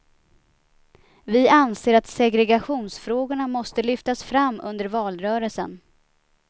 Vi anser att segregationsfrågorna måste lyftas fram under valrörelsen.